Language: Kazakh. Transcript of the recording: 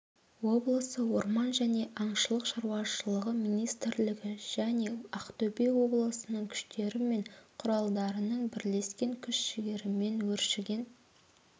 облысы орман және аңшылық шаруашылығы министрлігі және ақтөбе облысының күштері мен құралдарының бірлескен күш-жігерімен өршіген